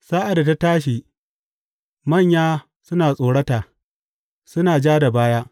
Sa’ad da ta tashi, manya suna tsorata; suna ja da baya.